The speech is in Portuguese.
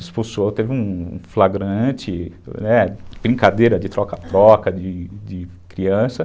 Expulsou, teve um flagrante, é, brincadeira de troca-troca de criança.